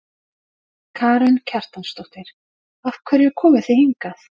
Karen Kjartansdóttir: Af hverju komuð þið hingað?